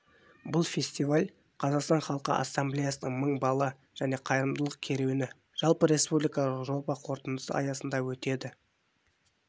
бұл фестиваль қазақстан халқы ассамблеясының мың бала және қайырымдылық керуені жалпы республикалық жоба қорытындысы аясында өтеді